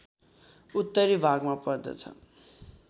उत्तरी भागमा पर्दछ